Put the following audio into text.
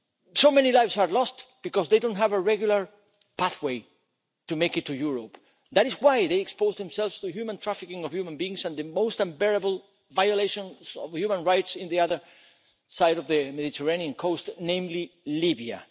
So many lives are lost because they don't have a regular pathway to make it to Europe. That is why they expose themselves to trafficking in human beings and the most unbearable violations of human rights on the other side of the Mediterranean coast, namely, Libya.